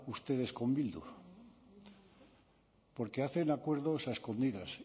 ustedes con bildu porque hacen acuerdos a escondidas